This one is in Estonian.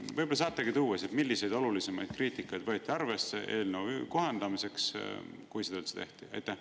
Võib-olla saategi tuua, milliseid olulisemaid kriitikaid võeti arvesse eelnõu kohendamiseks, kui seda üldse tehti?